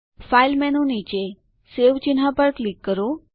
file menu નીચે save ચિહ્ન પર ક્લિક કરો